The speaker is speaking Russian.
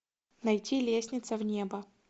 найти лестница в небо